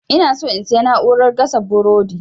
inaso in sayi na'urar gasa burodi